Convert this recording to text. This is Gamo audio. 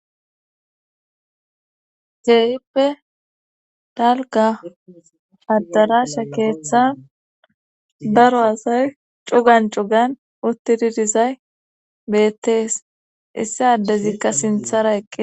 ceeyippe dalga haddarasha keeththan baro asay cugan cugan utti didizay beettees issi addezikka sinthara eqqe